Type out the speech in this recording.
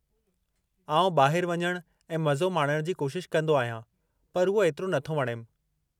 आउं ॿाहिरि वञणु ऐं मज़ो माणण जी कोशिशि कंदो आहियां, पर उहो एतिरो नथो वणेमि।